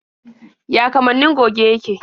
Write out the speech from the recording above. Ya kamannin goge yake?